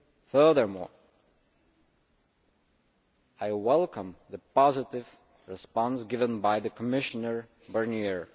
Furthermore, I welcome the positive response given by Commissioner Barnier.